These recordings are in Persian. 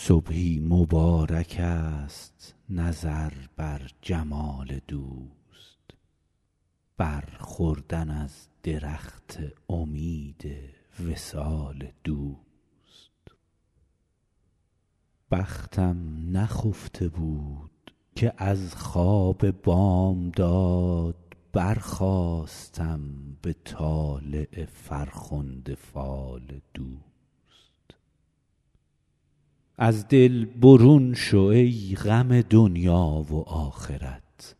صبحی مبارکست نظر بر جمال دوست بر خوردن از درخت امید وصال دوست بختم نخفته بود که از خواب بامداد برخاستم به طالع فرخنده فال دوست از دل برون شو ای غم دنیا و آخرت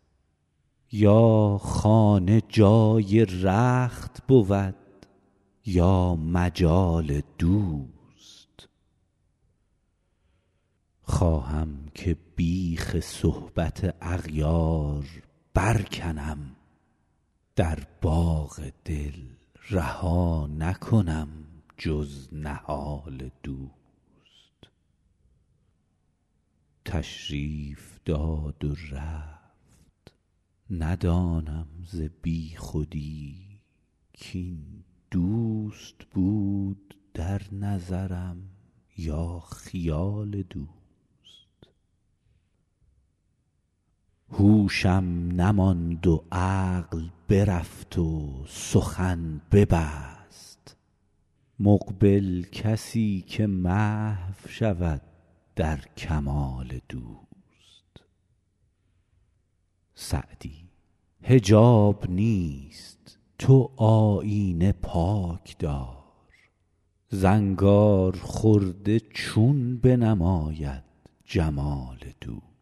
یا خانه جای رخت بود یا مجال دوست خواهم که بیخ صحبت اغیار برکنم در باغ دل رها نکنم جز نهال دوست تشریف داد و رفت ندانم ز بیخودی کاین دوست بود در نظرم یا خیال دوست هوشم نماند و عقل برفت و سخن نبست مقبل کسی که محو شود در کمال دوست سعدی حجاب نیست تو آیینه پاک دار زنگارخورده چون بنماید جمال دوست